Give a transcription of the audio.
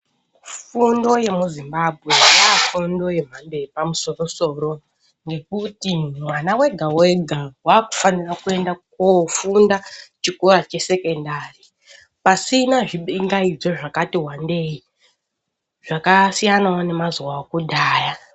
Fundo yemuZimbabwe yafundo yemhando yepamusoro-soro ngekuti mwana wega wega wakufanira kuenda kofunda chikora chesekendari pasina zvibingaidzo zvakati wandei zvakasiyanawo nemazuwa okudhaya.